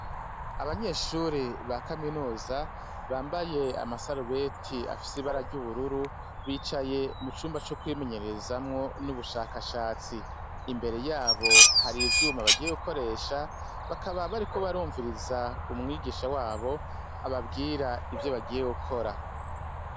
Abanyeshure ba kaminuza bambaye amasarubeti afise ibara ryubururu bicaye mucumba co kwinenyerezamwo nubushaka shatsi imbere yabo harivyuma bagiye gukoresha bakaba bariko barumviriza umwigisha wabo ababwira ivyo bagiye gukora.